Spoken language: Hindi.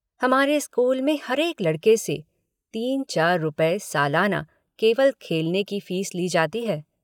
हमारे स्कूल में हरेक लड़के से तीन चार रुपये सालाना केवल खेलने की फ़ीस ली जाती है।